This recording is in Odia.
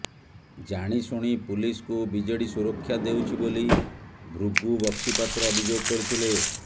ଜାଣିଶୁଣି ପୁଲିସକୁ ବିଜେଡି ସୁରକ୍ଷା ଦେଉଛି ବୋଲି ଭୃଗୁ ବକ୍ସିପାତ୍ର ଅଭିଯୋଗ କରିଥିଲେ